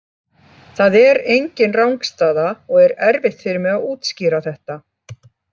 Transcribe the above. Það er engin rangstaða og er erfitt fyrir mig að útskýra þetta.